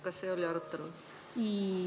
Kas see oli arutelul?